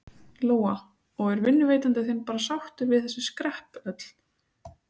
Lóa: Og er vinnuveitandi þinn bara sáttur við þessi skrepp öll?